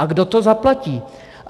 A kdo to zaplatí?